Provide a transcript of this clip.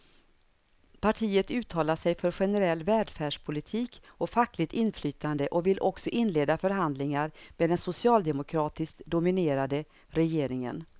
Partiet uttalar sig för generell välfärdspolitik och fackligt inflytande och vill också inleda förhandlingar med den socialdemokratiskt dominerade regeringen.